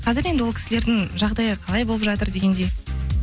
қазір енді ол кісілердің жағдайы қалай болып жатыр дегендей